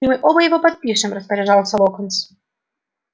и мы оба его подпишем распоряжался локонс